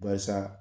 Barisa